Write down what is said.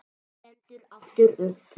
Stendur aftur upp.